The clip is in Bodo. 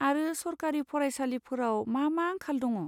आरो सरकारि फरायसालिफोराव मा मा आंखाल दङ?